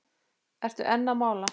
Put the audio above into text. Ertu enn að mála?